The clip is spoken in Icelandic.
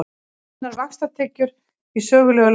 Hreinar vaxtatekjur í sögulegu lágmarki